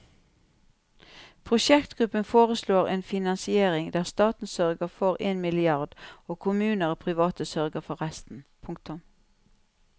Prosjektgruppen foreslår en finansiering der staten sørger for en milliard og kommuner og private sørger for resten. punktum